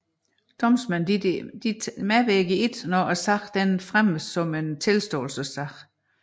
Domsmænd medvirker ikke når sagen fremmes som en tilståelsessag